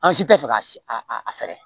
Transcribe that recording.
An si tɛ fɛ ka si a fɛ